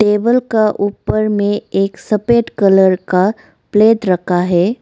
Table का ऊपर मे एक सफेद कलर का प्लेट रखा है।